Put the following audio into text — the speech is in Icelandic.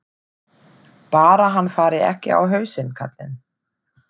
Bara hann fari ekki á hausinn, karlinn.